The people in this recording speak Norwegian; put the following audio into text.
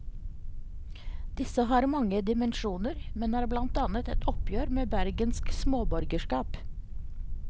Disse har mange dimensjoner, men er blant annet et oppgjør med bergensk småborgerskap.